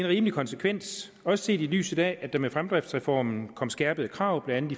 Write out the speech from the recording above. rimelig konsekvens også set i lyset af at der med fremdriftsreformen kom skærpede krav blandt